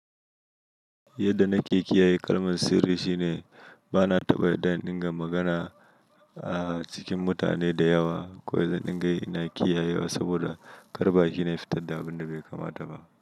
Yadda na ke kiyaye kalmar sirri shine bana taɓa dain dinga magana ah cikin mutane da yawa. Ko da dingai ina kiyaye wa saboda kar baki na ya fita da abinda bai kama da ba.